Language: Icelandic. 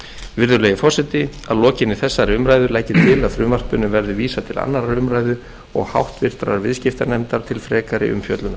virðulegi forseti að lokinni þessari umræðu legg ég til að frumvarpinu verði vísað til annarrar umræðu og háttvirtur viðskiptanefndar til frekari umfjöllunar